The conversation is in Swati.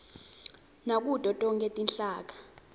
nakuto tonkhe tinhlaka